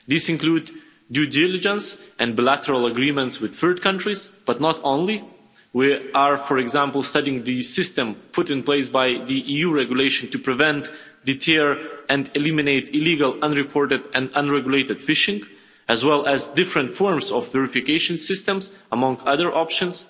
These include due diligence and bilateral agreements with third countries, but not only. We are, for example, studying the system put in place by the EU regulation to prevent, deter and eliminate illegal, unreported and unregulated fishing, as well as different forms of verification systems, among other options.